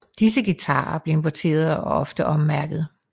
Disse guitarer blev importeret og ofte ommærket